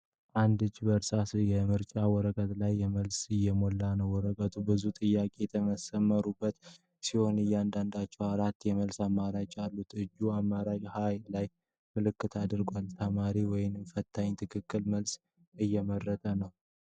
አንድ እጅ በእርሳስ የምርጫ ወረቀት ላይ መልስ እየሞላ ነው። ወረቀቱ ብዙ ጥያቄዎች የተሰመሩበት ሲሆን ለእያንዳንዳቸው አራት የመልስ አማራጮች አሉ። እጁ አማራጭ 'ሀ' ላይ ምልክት አድርጓል። ተማሪው ወይም ፈታኙ ትክክለኛውን መልስ እየመረጠ ነው።